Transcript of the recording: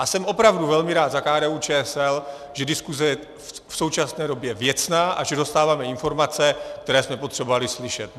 A jsem opravdu velmi rád za KDU-ČSL, že diskuse je v současné době věcná a že dostáváme informace, které jsme potřebovali slyšet.